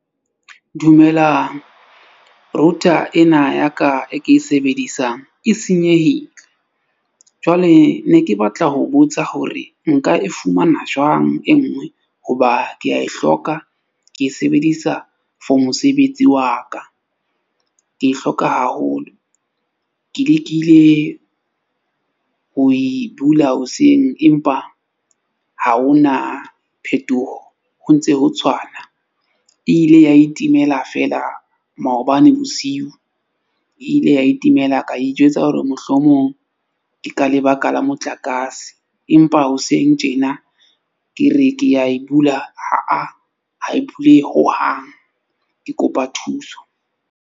Dumelang router ena ya ka e ke e sebedisang e senyehile. Jwale ne ke batla ho botsa hore nka e fumana jwang e nngwe? Hoba ke a e hloka ke e sebedisa for mosebetsi wa ka. Ke e hloka haholo. Ke lekile ho e bula hoseng empa ha ho na phetoho ho ntse ho tshwana. E ile ya itimela feela maobane bosiu e ile ya itimela. Ka ijwetsa hore mohlomong ke ka lebaka la motlakase. Empa hoseng tjena ke re, ke ya e bula, ha a, ha e bulehe hohang. Ke kopa thuso.